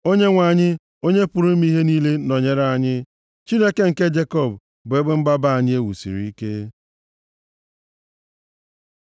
Onyenwe anyị, Onye pụrụ ime ihe niile nọnyere anyị; Chineke nke Jekọb bụ ebe mgbaba anyị e wusiri ike. Sela